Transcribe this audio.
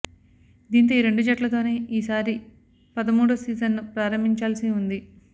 దీంతో ఈ రెండు జట్లతోనే ఈసారి పదమూడో సీజన్ను ప్రారంభించాల్సి ఉంది